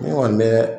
Ne kɔni bɛ